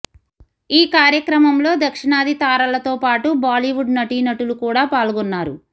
ఈ కార్యక్రమంలో దక్షిణాది తారలతో పాటు బాలీవుడ్ నటీనటులు కూడా పాల్గొన్నారు